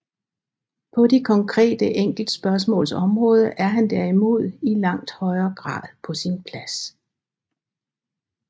På de konkrete enkeltspørgsmaals område er han derimod i langt højere grad på sin plads